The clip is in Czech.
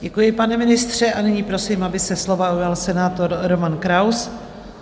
Děkuji, pane ministře, a nyní prosím, aby se slova ujal senátor Roman Kraus.